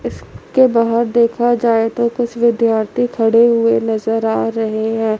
इसके बाहर देखा जाए तो कुछ विद्यार्थी खड़े हुए नजर आ रहे हैं।